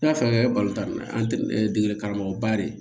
N'a fɛn karamɔgɔba de